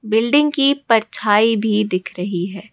Building की परछाई भी दिख रही है।